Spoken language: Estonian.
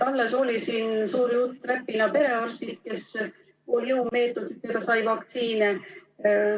Alles oli siin suur jutt Räpina perearstidest, kes jõumeetoditel said vaktsiine.